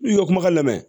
N'i y'o kumakan lamɛn